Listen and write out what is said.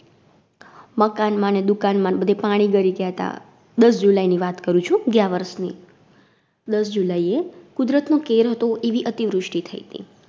મકાન માં ને, દુકાન માંન બધે પાણી ગળી ગ્યાતા દસ July ની વાત કરું છું, ગ્યાંવરસની. દસ July એ કુદરત નો કેર હતો એવી અતિવૃષ્ટિ થઈતી.